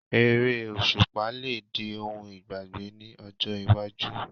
Eré òṣùpá lè di ohun ìgbàgbé ní ọjọ́ iwájú